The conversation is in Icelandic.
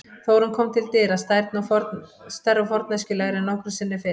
Þórunn kom til dyra, stærri og forneskjulegri en nokkru sinni fyrr.